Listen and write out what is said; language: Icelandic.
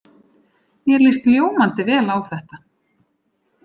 Mér líst ljómandi vel á þetta.